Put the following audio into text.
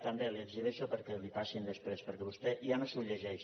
també li ho exhibeixo perquè li ho passin després perquè vostè ja no s’ho llegeix